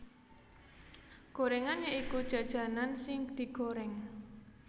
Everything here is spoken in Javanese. Gorengan ya iku jajanan sing digoreng